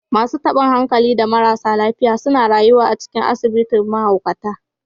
Masu tabin hankali da marasa lafiya suna rayuwa a cikin asibitin mahaukata